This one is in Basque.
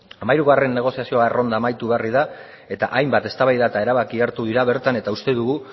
hamairugarren negoziazioa errolda amaitu berri da eta hainbat eztabaida eta erabaki hartu dira bertan eta uste dugu